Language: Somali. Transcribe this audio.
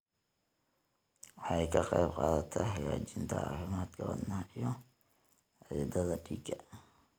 Waxay ka qaybqaadataa hagaajinta caafimaadka wadnaha iyo xididdada dhiigga.